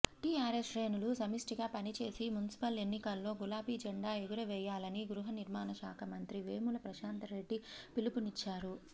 TRS శ్రేణులు సమిష్టిగా పనిచేసి మున్సిపల్ ఎన్నికల్లో గులాబీ జెండా ఎగురవేయాలని గృహనిర్మాణశాఖ మంత్రి వేముల ప్రశాంత్రెడ్డి పిలుపునిచ్చారు